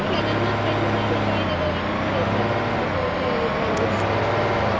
ಇಲ್ಲ ನನ್ನ friends ಆಗ join ಆದವರು ಇನ್ನು ಕೂಡ ಇದ್ದಾರೆ ಈಗ ಒಳ್ಳೆ ಇದ್ರಲ್ಲಿ ಇದ್ದಾರೆ post ಅಲ್ಲಿ ಇದ್ದಾರೆ.